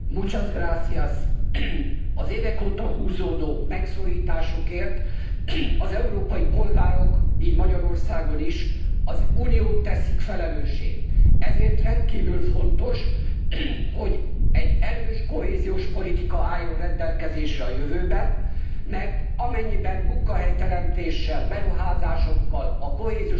Az évek óta húzódó megszorításokért az európai polgárok így Magyarországon is az Uniót teszik felelőssé, ezért rendkívül fontos, hogy egy erős kohéziós politika álljon rendelkezésre a jövőben, mert amennyiben munkahelyteremtéssel, beruházásokkal a kohéziós politika keretében